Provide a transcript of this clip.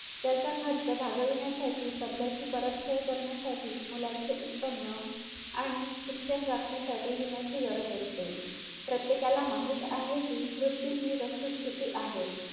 तू कधी हे केलंय का म्हणजे सगळी माहिती मिळवण्याचा प्रयत्न केलाय का किंवा जाण्याच्या आधी काहीतरी त्याबद्दल इतिहास वाचूया त्या बद्दल बगुया अस त्याबद्दल महीती बगुया अस तुला वाटतंय का कधी